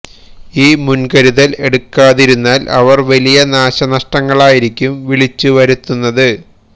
ഈ മുന്കരുതല് എടുക്കാതിരുന്നാല് അവര് വലിയ നാശനഷ്ടങ്ങളായിരിക്കും വിളിച്ചു വരുത്തുന്നത്